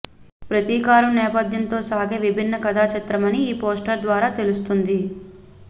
ప్రతికారం నేపధ్యంతో సాగే విభిన్న కథా చిత్రమని ఈ పోస్టర్ ద్వారా తెలుస్తుంది